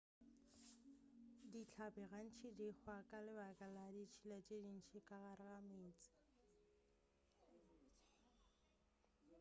dihlapi gantši di hwa ka lebaka la ditšhila tše ntši ka gare ga meetse